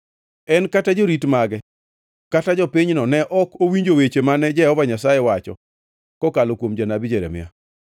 En kata jorit mage kata jopinyno ne ok owinjo weche mane Jehova Nyasaye owacho kokalo kuom janabi Jeremia.